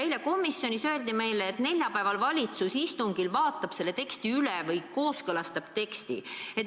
Eile komisjonis öeldi meile, et neljapäeval valitsus istungil vaatab selle teksti üle või kooskõlastab teksti.